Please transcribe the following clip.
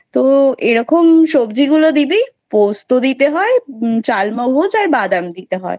তো এরকম সবজি গুলো দিবি পোস্তো দিতে হয় চাল মগজ আর বাদাম দিতে হয়,